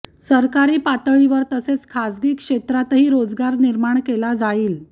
सरकारी पातळीवर तसेच खासगी क्षेत्रातही रोजगार निर्माण केला जाईल